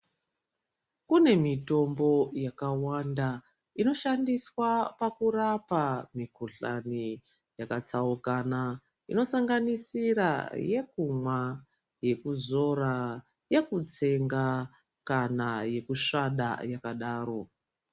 Kune mitombo yakawanda inoshandiswa pakurapa mikhuhlani yakasiyana inosanganisira yekumwa, yekuzora, yekutsenga kana yekusvada yakadaro.